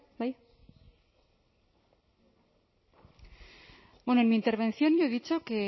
bai bueno en mi intervención yo he dicho que